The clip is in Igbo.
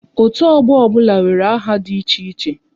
Otu ọgbọ ọbụla nwere aha dị iche